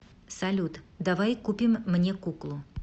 салют давай купим мне куклу